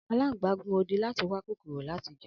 Alangba gun odi lati wa kokoro lati jẹ.